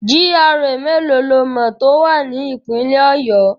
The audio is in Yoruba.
GRA mélòó lo mọ̀ tó wà ní Ìpínlẹ̀ Ọ̀yọ́?